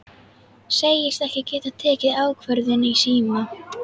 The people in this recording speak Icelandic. Segist ekki geta tekið ákvörðun í síma.